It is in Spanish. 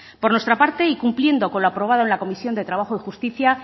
por nuestra parte y cumpliendo con lo aprobado en la comisión de trabajo y justicia